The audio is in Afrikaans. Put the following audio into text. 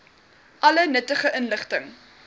alle nuttige inligting